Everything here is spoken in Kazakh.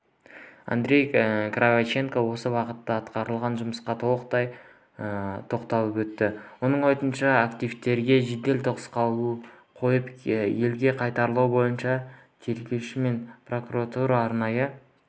андрей кравченко осы бағытта атқарылған жұмысқа тоқталып өтті оның айтуынша активтерге жедел тосқауыл қойып елге қайтару бойынша тергеуші мен прокурор арнайы